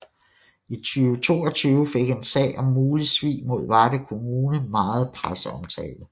I 2022 fik en sag om mulig svig mod Varde kommune meget presseomtale